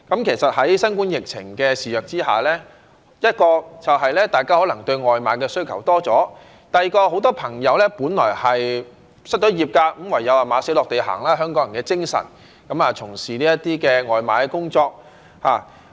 其實，在新冠疫情肆虐之下，第一，就是大家可能對外賣的需求多了；第二，很多朋友本來失業，唯有"馬死落地行"——香港人的精神——從事這些外賣工作。